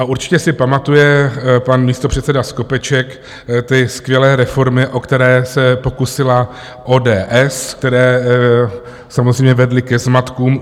A určitě si pamatuje pan místopředseda Skopeček ty skvělé reformy, o které se pokusila ODS, které samozřejmě vedly ke zmatkům.